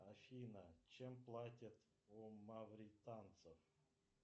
афина чем платят у мавританцев